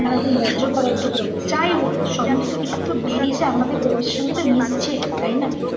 নানা রকম বর্জ্য পদার্থ বলো যাই বলো সমস্ত কিছু তো বেরিয়ে এসে আমাদের পরিবেশের সঙ্গে তো মিশছে তাই না?